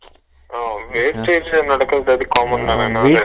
அஹ wastage நடுக்குறது அது ரொம்ப common தான அண்ணா வீட்ல